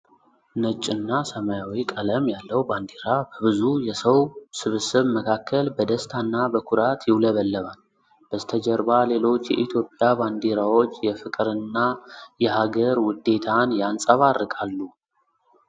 ነጭና ሰማያዊ ቀለም ያለው ባንዲራ በብዙ የሰው ስብስብ መካከል በደስታና በኩራት ይውለበለባል። በስተጀርባ ሌሎች የኢትዮጵያ ባንዲራዎች የፍቅርና የሀገር ውዴታን ያንጸባርቃሉ።